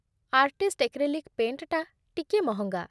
Artist acrylic ପେଣ୍ଟ୍‌ଟା ଟିକିଏ ମହଙ୍ଗା ।